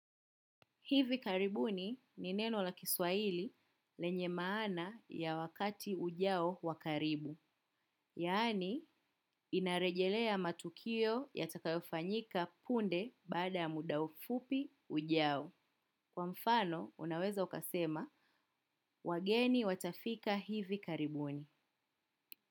Hivi karibuni, ni neno la Kiswahili, lenye maana ya wakati ujao wa karibu. Yaani, inarejelea matukio yatakayofanyika punde bada ya muda mfupi ujao. Kwa mfano, unaweza ukasema, wageni watafika hivi karibuni.